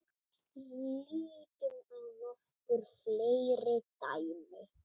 Lítum á nokkur fleiri dæmi.